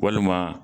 Walima